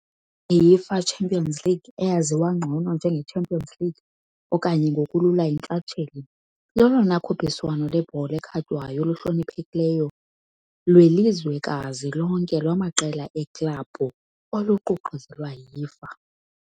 IUEFA Champions League, eyaziwa ngcono njenge Champions League okanye ngokulula iNtshatsheli, lolona khuphiswano lwebhola ekhatywayo luhloniphekileyo lwelizwekazi lonke lwamaqela eeklabhu oluququzelelwa yi UEFA .